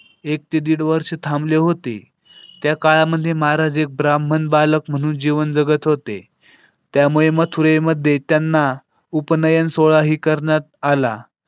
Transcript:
एक ते दीड वर्ष थांबले होते. त्या काळामध्ये महाराज हे ब्राह्मण बालक म्हणून जीवन जगत होते. त्यामुळे मथुरेमध्ये त्यांना उपनयन सोहळा ही करण्यात आला.